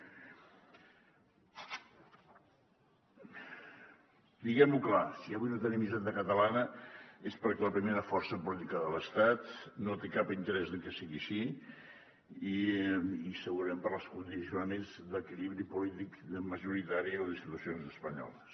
diguem·ho clar si avui no tenim hisenda catalana és perquè la primera força política de l’estat no té cap interès en que sigui així i segurament pels condiciona·ments d’equilibri polític majoritari a les institucions espanyoles